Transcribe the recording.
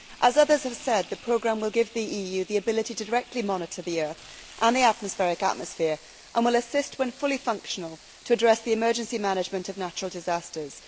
As others have said, the programme will give the EU the ability to directly monitor the earth and its atmosphere and will assist, when fully functional, in handling emergency management of natural disasters.